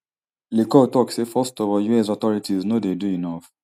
le cour tok say first of all us authorities no dey do enof